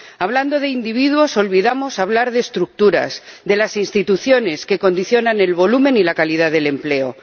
Hablando de individuos, olvidamos hablar de estructuras, de las instituciones que condicionan el volumen y la calidad del empleo.